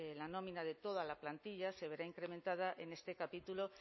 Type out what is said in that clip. la nómina de toda la plantilla se verá incrementada en este capítulo